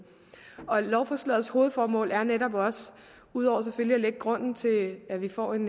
lovforslagets hovedformål er netop ud over selvfølgelig at lægge grunden til at vi får en